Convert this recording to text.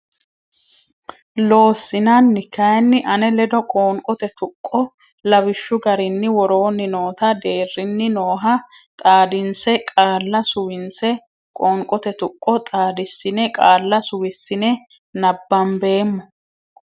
Loossinanni kayinni ane ledo qoonqote tuqqo Lawishshu garinni woroonni noota deerrinni nooha xaadinse qaalla suwinse qoonqote tuqqo xaadissine qaalla suwissine nabbambeemmo.